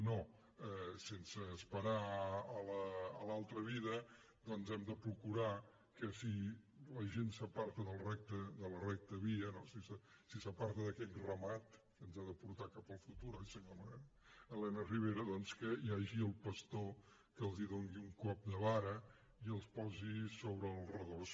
no sense esperar a l’altra vida doncs hem de procurar que si la gent s’aparta de la recta via no i s’aparta d’aquest ramatens ha de portar cap al futur oi senyora elena ribera doncs que hi hagi el pastor que els doni un cop de vara i els posi sobre el redós